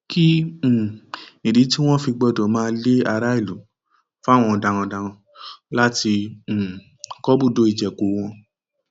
kí um nídìí tí wọn fi gbọdọ máa lo ilé aráàlú fún àwọn darandaran láti um kọ ibùdó ìjẹko wọn